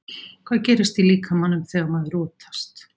Hvað gerist í líkamanum þegar maður rotast?